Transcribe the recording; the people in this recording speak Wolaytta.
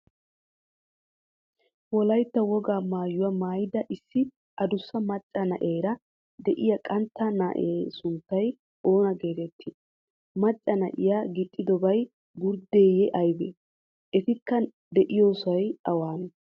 wolaytta woga maayuwa maayida issi aadussa macaa naa7eraa de7iya qantta naa7a sunttay oona geteetti? maccaa naa7iya gixxidobay gurddeeyyee aybee? etikka de7iyosay awanne?